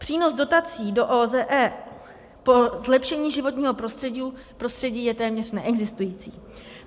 Přínos dotací do OZE po zlepšení životního prostředí je téměř neexistující.